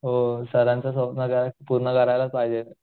हो सरांचं स्वप्न काय पूर्ण करायलाच पाहिजे